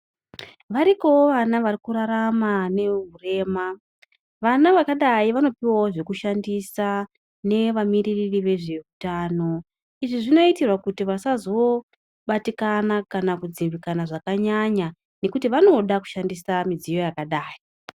Varikowo vana varikurarama nehurema vana vakadai vanopuwa zvekushandisa nevamiri nezvehutano izvibzvinoitabkuti vasabatikana kana kudzimikana zvakanyanya nekuti vanoda kushandisa midziyo yakadai.